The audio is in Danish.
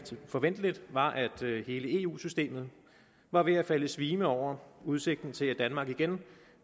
forventeligt var at hele eu systemet bare ved at falde i svime over udsigten til at danmark igen